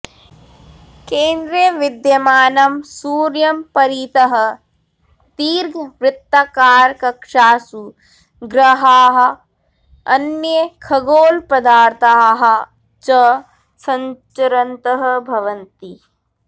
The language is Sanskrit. केन्द्रे विद्यमानं सूर्यं परितः दीर्घवृत्ताकारकक्षासु ग्रहाः अन्ये खगोलपदार्थाः च सञ्चरन्तः भवन्ति